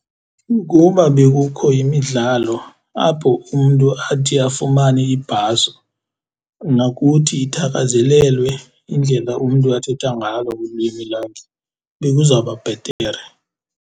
Ukuba bekukho imidlalo apho umntu athi afumane ibhaso, nokuthi ithakazelelwe indlela umntu athetha ngalo ulwimi lakhe bekuzawuba bhetere.